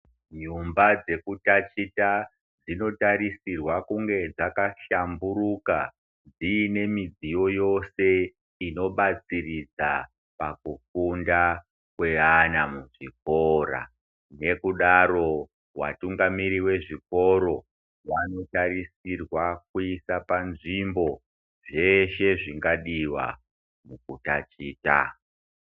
Dzimba dzekutatichira dzinotarisirwe kunge dzakahlamburuka dzine mudziyo yoshe inopatsiridza pakufunda kweana muzvikora nekudaro vatungamiri vezvikoro vanotariswa kuisa panzvimbo zveshe zvingadiwa mukutaticha.